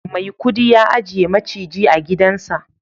maikudi ya ajiye maciji a gidansa